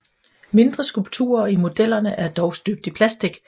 Mindre skulpturer i modellerne er dog støbt i plastik